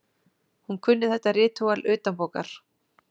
Hún kunni þetta ritúal utanbókar.